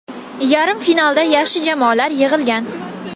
Yarim finalda yaxshi jamoalar yig‘ilgan.